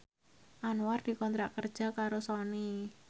Anwar dikontrak kerja karo Sony